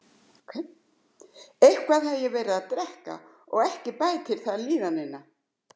Eitthvað hafði ég verið að drekka og ekki bætti það líðanina.